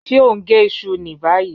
Ṣe o n ge iṣu ni bayi?